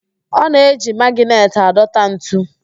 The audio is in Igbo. Ọ na-eji magịnetị adọta ntu